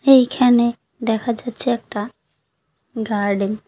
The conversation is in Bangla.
এইখানে দেখা যাচ্ছে একটা গার্ডেন ।